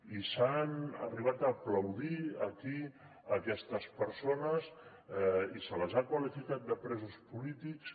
i s’han arribat a aplaudir aquí aquestes persones i se les ha qualificat de presos polítics